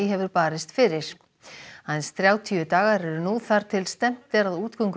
hefur barist fyrir aðeins þrjátíu dagar eru nú þar til stefnt er að útgöngu